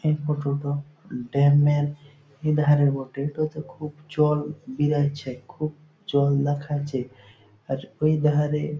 এই ফটো -টো ড্যাম -এর ধারে বটে এটোতে খুব জল বেড়াইচ্ছেখুব জল দেখাচ্ছে আর ওই ধারে --